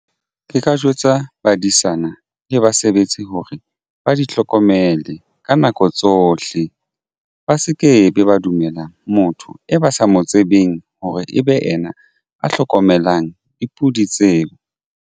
Ke ka jwetsa badisana le basebetsi hore ba di hlokomele ka nako tsohle. Ba se ke be ba dumelang motho e ba sa mo tsebeng hore e be yena a hlokomelang dipudi tseo.